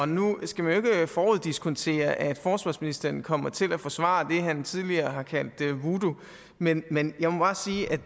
nu skal man jo ikke foruddiskontere at forsvarsministeren kommer til at forsvare det han tidligere har kaldt woodoo men men jeg må bare sige at